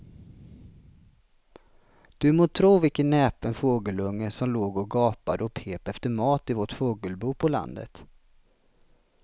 Du må tro vilken näpen fågelunge som låg och gapade och pep efter mat i vårt fågelbo på landet.